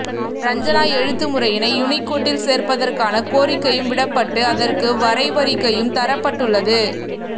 ரஞ்சனா எழுத்துமுறையினை யூனிகோடில் சேர்ப்பதற்கான கோரிக்கையும் விடப்பட்டு அதற்கு வரைவறிக்கையும் தரப்பட்டுள்ளது